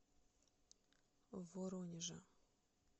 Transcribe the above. воронежа